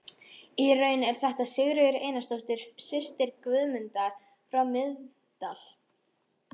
Í raun er þetta Sigríður Einarsdóttir, systir Guðmundar frá Miðdal.